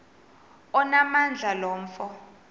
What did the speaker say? onamandla lo mfo